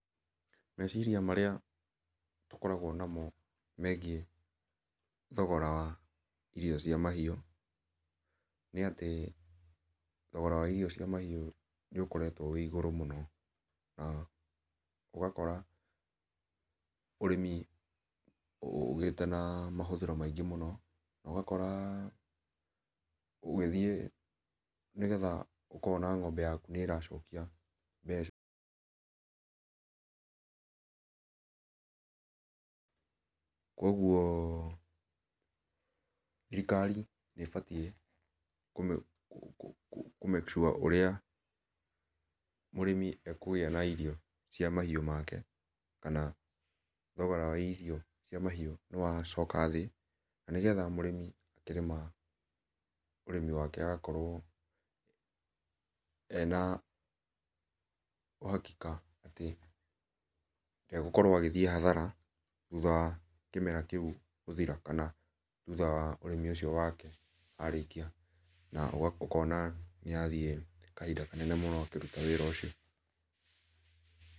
Mecirĩa marĩa tũkoragwo namo megiĩ thogora wa irio cia mahiũ, nĩ atĩ thogora wa irio icio cia mahiũ nĩ ũkoretwo wĩ igũrũ mũno, ũgakora ũrĩmi ũgĩte na mahũthĩro maingĩ mũno, na ũgakora ũgĩthiĩ nĩgetha ũkona ng'ombe yaku nĩ ĩracokia mbeca kuoguo thĩrĩkari nĩ ĩbatiĩ kũ make sure ũrĩa mũrĩmi ekũgĩa na irio cia mahiũ make, kana thogora wa irio wa mahiũ nĩ wa coka thĩ, na nĩgetha mũrĩmi akĩrĩma ũrĩmi wake agakorwo ena uhakika atĩ ndegũkorwo agĩthiĩ hathara thũtha wa kĩmera kĩũ gũthĩra, kana thũtha wa ũrĩmi ũcio wake arĩkĩa na ũkona nĩathiĩ kahinda kanene mũno akĩruta wĩra ũcio.